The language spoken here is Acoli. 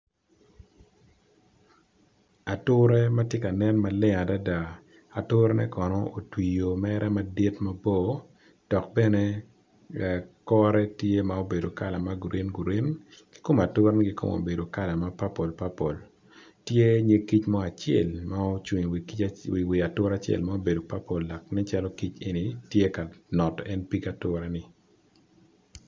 Ature matye ka nen maleng adada ature ne kono otwi i ye mere madit mabor dok bene kore tye ma obedo kala ma green green ki kom ature ni kono obedo kala ma purple purple tye nyig kic mo acel ma ocung i wi ature mo acel ma obedo lapurple lakite nen calo kic eni tye ka noto eni pig ature ni.